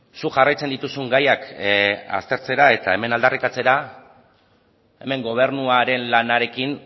zuk jarraitzen dituzun gaiak aztertzera eta hemen aldarrikatzera hemen gobernuaren lanarekin